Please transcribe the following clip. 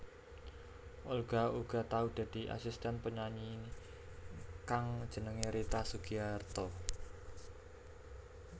Olga uga tau dadi asisten penyanyi kang jenengé Rita Sugiarto